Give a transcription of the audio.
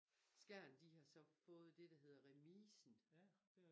Skjern de har så fået det der hedder remisen